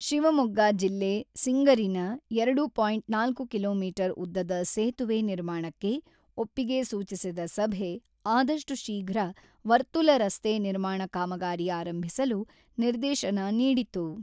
ಶಿವಮೊಗ್ಗ ಜಿಲ್ಲೆ ಸಿಂಗರಿನ ಎರಡು ಪಾಯಿಂಟ್ ನಾಲ್ಕು ಕಿಲೋಮೀಟರ್ ಉದ್ದದ ಸೇತುವೆ ನಿರ್ಮಾಣಕ್ಕೆ ಒಪ್ಪಿಗೆ ಸೂಚಿಸಿದ ಸಭೆ, ಆದಷ್ಟು ಶೀಘ್ರ ವರ್ತುಲ ರಸ್ತೆ ನಿರ್ಮಾಣ ಕಾಮಗಾರಿ ಆರಂಭಿಸಲು ನಿರ್ದೇಶನ ನೀಡಿತು.